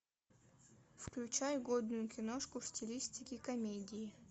включай годную киношку в стилистике комедии